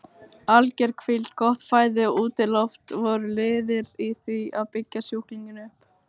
Alger hvíld, gott fæði og útiloft voru liðir í því að byggja sjúklinginn upp.